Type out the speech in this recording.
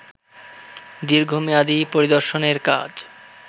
দীর্ঘমেয়াদী পরিদর্শনের কাজ